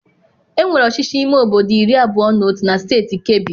Enwere ọchịchị ime obodo iri abụọ na otu na steeti Kebbi.